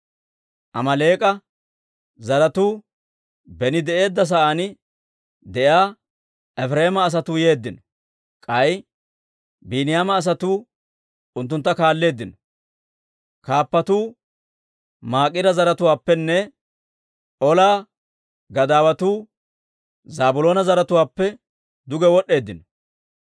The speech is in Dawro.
Amaaleek'a zaratuu beni de'eedda sa'aan de'iyaa, Efireema asatuu yeeddino. K'ay Biiniyaama asatuu unttuntta kaalleeddino. Kaappatuu Maakira zaratuwaappenne, Ola gadaawatuu Zaabiloona zaratuwaappe duge wod'd'eeddino.